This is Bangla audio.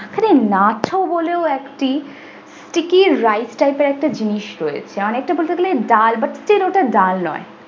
এখানে nacho বলে একটি sticky rice type এর একটি জিনিস রয়েছে অনেকটা বলতে গেলে ডাল but still ওটা ডাল নই।